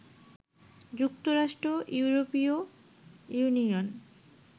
যুক্তরাষ্ট্র, ইউরোপীয় ইউনিয়ন